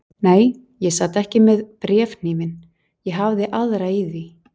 Nei, ég sat ekki með bréfhnífinn, ég hafði aðra í því.